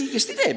Ja õigesti teeb.